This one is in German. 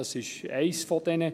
Dies ist eines der Indizien: